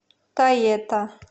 тоета